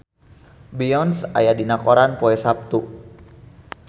Beyonce aya dina koran poe Saptu